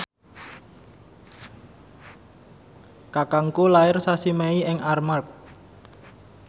kakangku lair sasi Mei ing Armargh